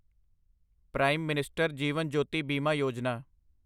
prime minister Jeevan Jyoti Bima Yojana